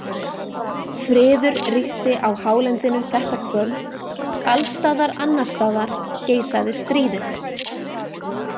Friður ríkti á hálendinu þetta kvöld, alls staðar annars staðar geisaði stríðið.